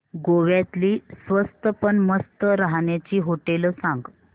गोव्यातली स्वस्त पण मस्त राहण्याची होटेलं सांग